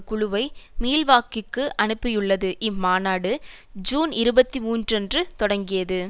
குழுவை மில்வாகீக்கு அனுப்பியுள்ளது இம்மாநாடு ஜூன் இருபத்தி மூன்று அன்று தொடங்கியது